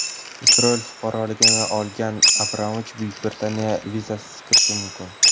Isroil fuqaroligini olgan Abramovich Buyuk Britaniyaga vizasiz kirishi mumkin.